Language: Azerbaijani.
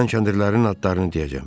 Mən kəndirlərin adlarını deyəcəm.